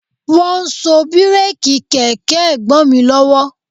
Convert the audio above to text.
Wọ́n ń so bíréèkì kẹ̀kẹ́ Ẹ̀gbọ́n mi lọ́wọ́